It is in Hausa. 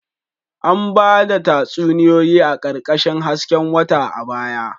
An ba da tatsuniyoyi a ƙarƙashin hasken wata a baya